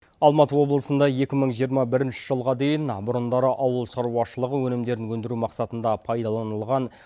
алматы облысында екі мың жиырма бірінші жылға дейін бұрындары ауылшаруашылығы өнімдерін өндіру мақсатында пайдаланылған